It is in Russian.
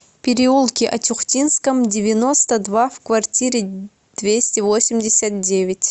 переулке атюхтинском девяносто два в квартире двести восемьдесят девять